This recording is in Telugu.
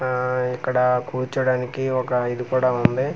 ఆ ఇక్కడ కూర్చోడానికి ఒక ఇది కూడా ఉంది.